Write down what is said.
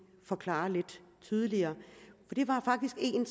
forklare lidt tydeligere det var faktisk en